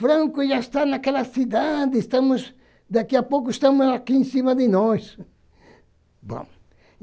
Franco já está naquela cidade, estamos, daqui a pouco estamos aqui em cima de nós. Bom